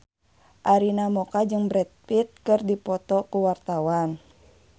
Arina Mocca jeung Brad Pitt keur dipoto ku wartawan